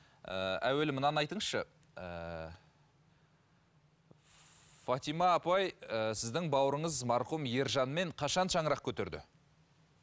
ііі әуелі мынаны айтыңызшы ііі фатима апай ііі сіздің бауырыңыз марқұм ержанмен қашан шаңырақ көтерді